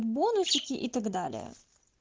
бонусики и так далее